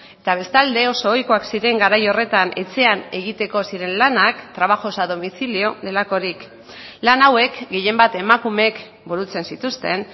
eta bestalde oso ohikoak ziren garai horretan etxean egiteko ziren lanak trabajos a domicilio delakorik lan hauek gehienbat emakumeek burutzen zituzten